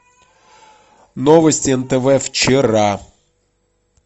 новости нтв вчера